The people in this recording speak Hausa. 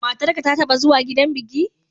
Matarka ta taɓa zuwa gidan biki?